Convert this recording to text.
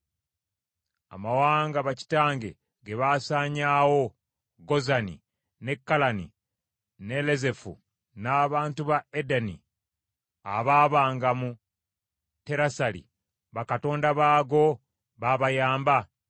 Amawanga bakitange ge baasaanyaawo, Gozani, ne Kalani, ne Lezefu n’abantu ba Adeni abaabanga mu Terasali, bakatonda baago, baabayamba?